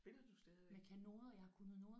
Spiller du stadigvæk?